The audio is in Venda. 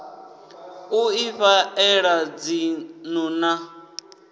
u ifha ela dzinnḓu a